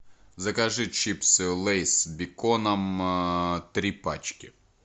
закажи чипсы лейс с беконом три пачки